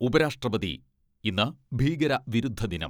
ഉപരാഷ്ട്രപതി ഇന്ന് ഭീകര വിരുദ്ധ ദിനം.